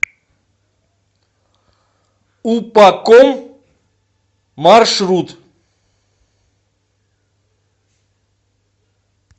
упаком маршрут